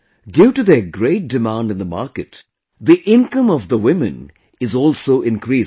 Due to their great demand in the market, the income of women is also increasing